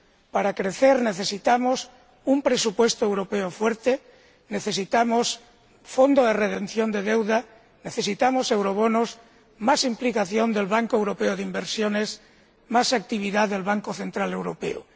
Para crecer, necesitamos un presupuesto europeo fuerte, necesitamos un fondo de redención de deuda, necesitamos eurobonos, más implicación del Banco Europeo de Inversiones, más actividad del Banco Central Europeo.